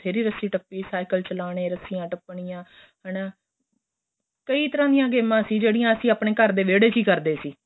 ਬਥੇਰੀ ਰੱਚੀ ਟੱਪੀ ਏ ਸਾਈਕਲ ਚਲਾਣੇ ਰੱਸ਼ੀਆਂ ਟੱਪਣੀਆਂ ਹੈਨਾ ਕਈ ਤਰ੍ਹਾਂ ਦੀਆਂ ਗੇਮਾਂ ਸੀ ਜਿਹੜੀਆਂ ਅਸੀਂ ਆਪਣੇਂ ਘਰ ਦੇ ਵੇੜੇ ਹੀ ਕਰਦੇ ਸੀ